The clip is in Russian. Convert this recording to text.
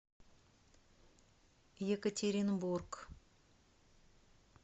екатеринбург